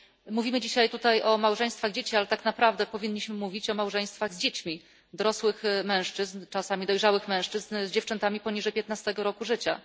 Mówimy dzisiaj tutaj o małżeństwach dzieci, ale tak naprawdę powinniśmy mówić o małżeństwach z dziećmi dorosłych mężczyzn, czasami dojrzałych mężczyzn z dziewczętami poniżej 15 roku życia.